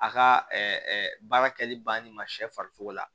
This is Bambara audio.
A ka ɛɛ baara kɛli bannen ma sɛ farisogo la